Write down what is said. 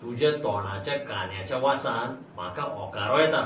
तुज्या तोंडाच्या कांद्याच्या वासान म्हाका ओंकारो येता.